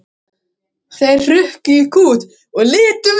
Þeir hrukku í kút og litu við.